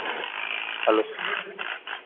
hello,